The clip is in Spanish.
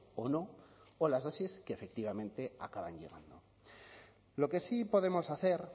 o no o las es que efectivamente acaban llegando lo que sí podemos hacer